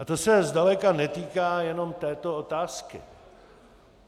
A to se zdaleka netýká jen této otázky.